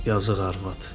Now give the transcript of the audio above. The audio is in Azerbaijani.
Yazıq arvad.